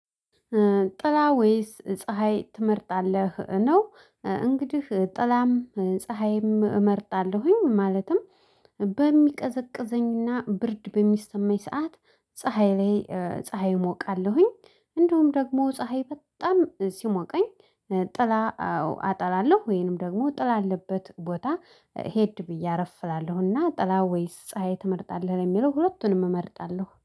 ጥላ ወይስ ፀሀይ ትመርጣለህ? ነው እንግዲህ ጥላም ፀሀይም እመርጣለሁኝ። ማለትም በሚቀዘቅዘኝና ብርድ በሚሰማኝ ሰዓት ፀሀይ ላይ ፀሀይ እሞቃለሁኝ። እንደውም ደግሞ ፀሀይ በጣም ሲሞቀኝ። ጥላ አጠላለሁ። ወይንም ደግሞ ጥላ ያለበት ቦታ ሄድ ብዬ አረፍ እላለሁና ጥላ ወይስ ፀሀይ ትመርጣለህ የሚለው ሁለቱንም እመርጣለሁ